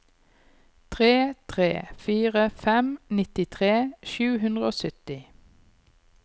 tre tre fire fem nittitre sju hundre og sytti